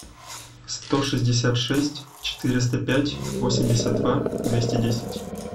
сто шестьдесят шесть четыреста пять восемьдесят два двести десять